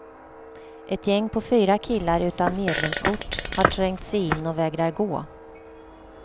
Ett gäng på fyra killar utan medlemskort har trängt sig in och vägrar gå.